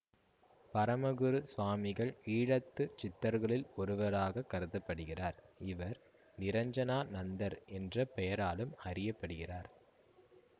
பரமகுரு சுவாமிகள் ஈழத்துச் சித்தர்களுள் ஒருவராகக் கருத படுகிறார் இவர் நிரஞ்சனானந்தர் என்ற பெயராலும் அறிய படுகிறார்